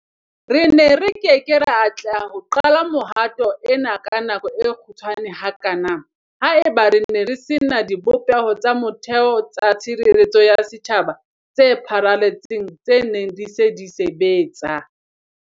Re ne re ke ke ra atleha ho qala mehato ena ka nako e kgutshwane hakana haeba re ne re se na dibopeho tsa motheo tsa tshireletseho ya setjhaba tse pharaletseng tse neng di se di sebetsa.